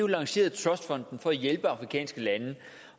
lanceret trustfonden for at hjælpe afrikanske lande